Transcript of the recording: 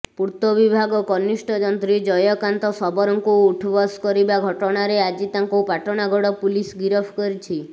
ପୂର୍ତ୍ତବିଭାଗ କନିଷ୍ଠ ଯନ୍ତ୍ରୀ ଜୟକାନ୍ତ ଶବରଙ୍କୁ ଉଠ୍ବସ୍ କରିବା ଘଟଣାରେ ଆଜି ତାଙ୍କୁ ପାଟଣାଗଡ଼ ପୁଲିସ୍ ଗିରଫ କରିଛି